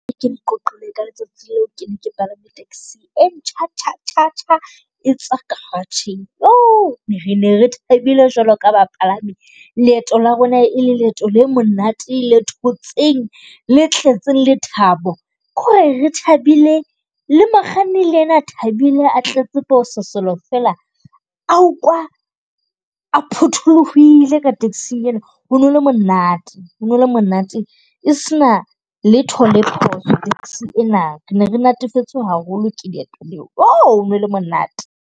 Ke o qoqele ka letsatsi le o ke ne palame taxi, e ntjha tjha tjha e tswa garage-ng. Re ne re thabile jwalo ka bapalami, leeto la rona e le leeto le monate le thotseng le tletseng lethabo, ko re rethabile. Le mokganni le ena a thabile a tletse pososelo fela, a ukwa a phuthuluhile ka taxi-ng ena. Ho no le monate ho, no le monate e sena letho le phoso taxi ena. Ne re natefetswe haholo ke leeto leo, no le monate.